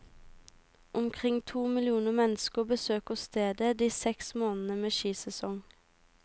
Omkring to millioner mennesker besøker stedet de seks månedene med skisesong.